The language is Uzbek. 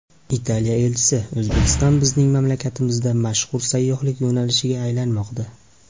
Italiya elchisi: O‘zbekiston bizning mamlakatimizda mashhur sayyohlik yo‘nalishiga aylanmoqda.